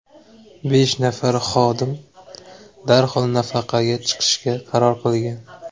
Besh nafar xodim darhol nafaqaga chiqishga qaror qilgan.